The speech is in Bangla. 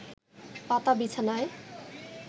পাতা বিছানায়